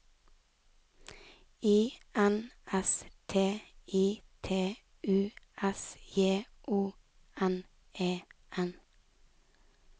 I N S T I T U S J O N E N